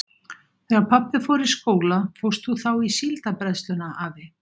Þegar pabbi fór í skóla fórst þú þá í Síldarbræðsluna, afi?